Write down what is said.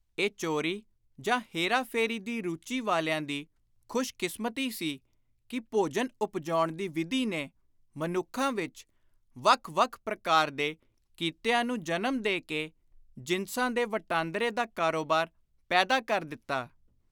ਇਹ ਚੋਰੀ ਜਾਂ ਹੇਰਾ-ਫੇਰੀ ਦੀ ਰੁਚੀ ਵਾਲਿਆਂ ਦੀ ਖ਼ੁਸ਼ਕਿਸਮਤੀ ਸੀ ਕਿ ਭੋਜਨ ਉਪਜਾਉਣ ਦੀ ਵਿਧੀ ਨੇ ਮਨੁੱਖਾਂ ਵਿਚ ਵੱਖ ਵੱਖ ਪ੍ਰਕਾਰ ਦੇ ਕਿੱਤਿਆਂ ਨੂੰ ਜਨਮ ਦੇ ਕੇ ਜਿਨਸਾਂ ਦੇ ਵਟਾਂਦਰੇ ਦਾ ਕਾਰੋਬਾਰ ਪੈਦਾ ਕਰ ਦਿੱਤਾ।